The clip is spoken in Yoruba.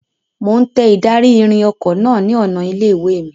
Mo ń tẹ ìdarí-ìrìn ọkọ náà ni ọ̀nà ilé-ìwé mi.